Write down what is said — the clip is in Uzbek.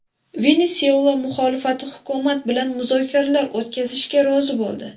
Venesuela muxolifati hukumat bilan muzokaralar o‘tkazishga rozi bo‘ldi.